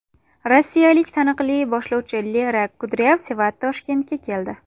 Rossiyalik taniqli boshlovchi Lera Kudryavseva Toshkentga keldi.